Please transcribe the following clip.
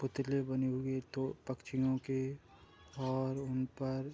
पुतले बने हुए तो पक्षियों के और उनपर --